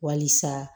Walisa